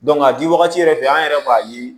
a di wagati yɛrɛ fɛ an yɛrɛ b'a ye